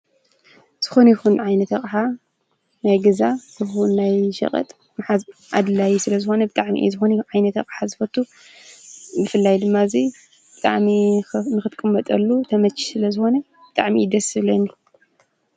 ዝኾን ይኹን ዓይነተ ቕዓ ናይ ገዛ ዝኅ ናይ ሽቐጥ ዓድላይ ስለ ዝኾነ ብቃዕሚኢ ዝኾን ኢ ዓይነተ ቕሓ ዝፈቱ ምፍላይ ድማ እዙይ ቃዕሚ ኽ ምኽትኩም መጠሉ ተመኪ ስለ ዝኾነ ብቃዕሚኢ ደ ስብለኒ